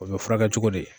O bɛ furakɛ cogo di